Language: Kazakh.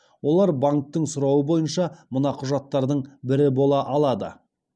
олар банктің сұрауы бойынша мына құжаттардың бірі бола алады